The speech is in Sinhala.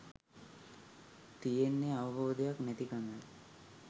තියෙන්නේ අවබෝධයක් නැති කමයි.